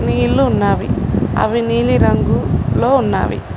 నీళ్లు ఉన్నవి అవి నీలిరంగు లో ఉన్నవి.